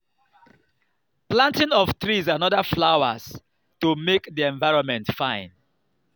planting of trees and oda flowers to make di environment fine